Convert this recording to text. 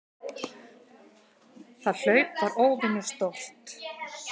Það hlaup var óvenju stórt.